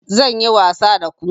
Zan yi wasa da ku